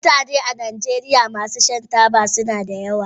Mutane masu shan taba a najeriya suna da yawa.